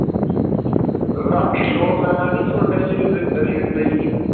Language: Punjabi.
ਰਾਤੀ ਮੈਂ ਨੀ raid ਪਈ ਹੀ